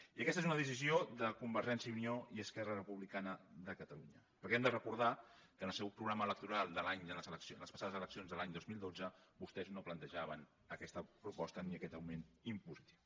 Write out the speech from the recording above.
i aquesta és una decisió de convergència i unió i esquerra republicana de catalunya perquè hem de recordar que al seu programa electoral de les passades eleccions de l’any dos mil dotze vostès no plantejaven aquesta proposta ni aquest augment impositiu